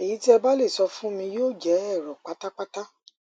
ẹyí tí ẹ bá le sọ fún mi yóò jẹ èrò pátápátá